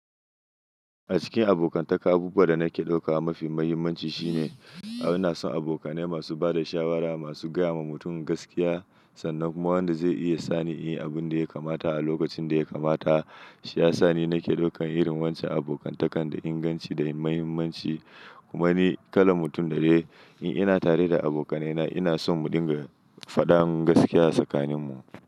A cikin abokantaka, abubuwa da nake ɗauka mafi mahimmanci shine a, ina son abokanai masu ba da shawara, masu gaya ma mutum gaskiya, sannan kuma wanda zai iya sani in yi abin da ya kamata a lokacin da ya kamata. Shi ya sa ni nake ɗaukan irin wancan abokantakan da inganci da muhimmanci. Kuma ni, kalan mutum da ne, in ina tare da abokanaina ina son mu dinga faɗan mun gaskiya a tsakaninmu.